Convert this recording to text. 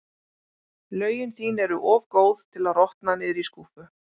Lögin þín eru of góð til að rotna niðri í skúffu.